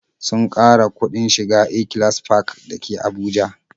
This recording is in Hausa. Sun ƙara kuɗin shiga A-class park dake Abuja